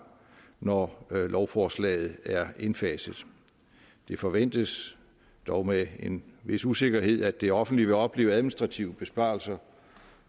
når lovforslaget er indfaset det forventes dog med en vis usikkerhed at det offentlige vil opleve administrative besparelser